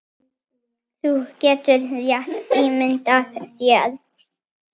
Þú getur rétt ímyndað þér!